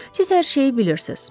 Siz hər şeyi bilirsiniz.